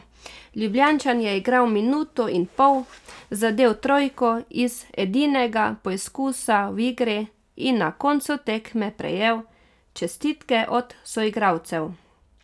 Ljubljančan je igral minuto in pol, zadel trojko iz edinega poizkusa v igri in na koncu tekme prejel čestitke od soigralcev.